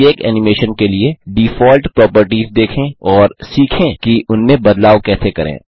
प्रत्येक एनिमेशन के लिए डिफॉल्ट प्रोपर्टिज देखें और सीखें कि उनमें बदलाव कैसे करें